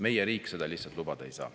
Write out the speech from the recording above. Meie riik seda lihtsalt lubada ei saa.